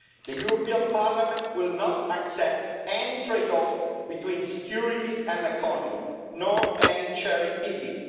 The European Parliament will not accept any trade-off between security and economy, nor any cherry-picking.